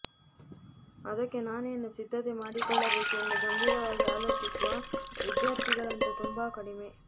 ಅದಕ್ಕೆ ನಾನೇನು ಸಿದ್ಧತೆ ಮಾಡಿಕೊಳ್ಳಬೇಕು ಎಂದು ಗಂಭೀರವಾಗಿ ಆಲೋಚಿಸುವ ವಿದ್ಯಾರ್ಥಿಗಳಂತೂ ತುಂಬಾ ಕಡಿಮೆ